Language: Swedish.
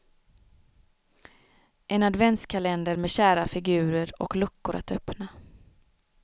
En adventskalender med kära figurer och luckor att öppna.